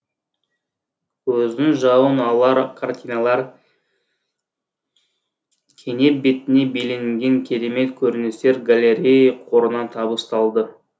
көздің жауын алар картиналар кенеп бетіне бейнеленген керемет көріністер галлерея қорына табысталды